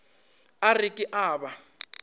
a re ke a ba